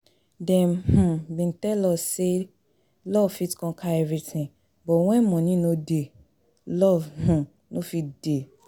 Dem um bin dey tell us say love fit conquer everything but when money no dey love um no fit dey